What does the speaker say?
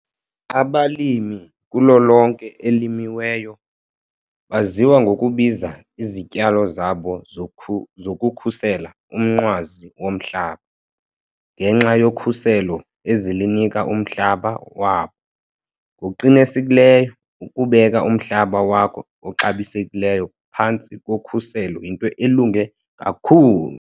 Abalimi kulo lonke elimiweyo baziwa ngokubiza izityalo zabo zokukhusela "umnqwazi womhlaba" ngenxa yokhuselo ezilinika umhlaba wabo. Ngokuqinisekileyo, ukubeka umhlaba wakho oxabisekileyo phantsi kokhuselo yinto elunge kakhulu!"